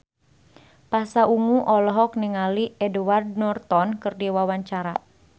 Pasha Ungu olohok ningali Edward Norton keur diwawancara